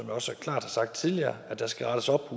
også klart har sagt tidligere at der skal rettes op